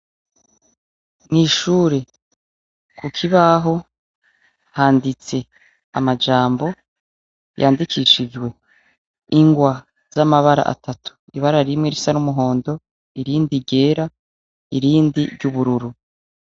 Mw’ishure kukibaho handitse amajambo yandikishijwe ingwa z’amabara atatu, ibara rimwe risa n’umuhondo irindi ryera irindi ry’ubururu.